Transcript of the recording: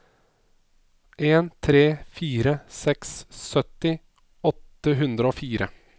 en tre fire seks sytti åtte hundre og fire